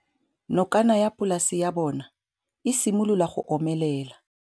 Nokana ya polase ya bona, e simolola go omelela.